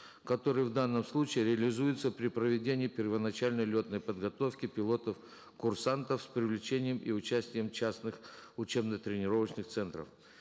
которые в данном случае реализуются при проведении первоначальной летной подготовки пилотов курсантов с привлечением и участием частных учебно тренировочных центров